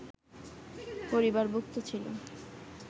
পরিবারভুক্ত ছিল